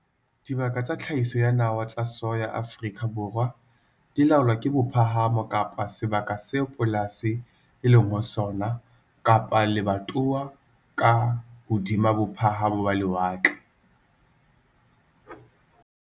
Dibaka tsa tlhahiso ya nawa tsa soya Afrika Borwa di laolwa ke bophahamo kapa sebaka seo polasi e leng ho sona kapa lebatowa ka hodima bophahamo ba lewatle.